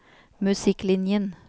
musikklinjen